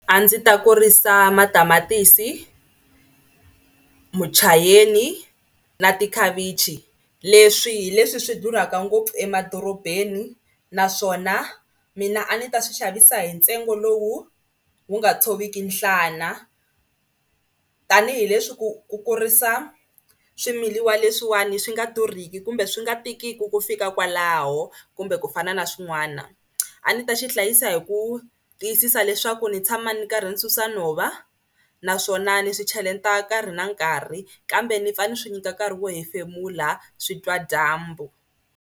A ndzi ta kurisa matamatisi, muchayeni na tikhavichi leswi hi leswi swi durhaka ngopfu emadorobeni naswona mina a ni ta swi xavisa hi ntsengo lowu wu nga tshoviki nhlana tanihileswi ku ku kurisa swimilawa leswiwani swi nga durhiki kumbe swi nga tikiki ku fika kwalaho kumbe ku fana na swin'wana. A ndzi ta xi hlayisa hi ku tiyisisa leswaku ni tshama ni karhi ni susa nhova naswona ni swi cheleta nkarhi na nkarhi kambe ni pfa ni swi nyika nkarhi wo hefemula swi twa dyambu.